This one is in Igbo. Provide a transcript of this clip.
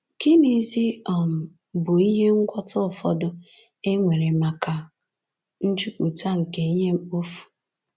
Gịnịzi um bụ ihe ngwọta ụfọdụ e nwere maka njupụta nke ihe mkpofu?